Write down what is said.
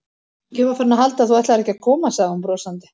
Ég var farin að halda að þú ætlaðir ekki að koma sagði hún brosandi.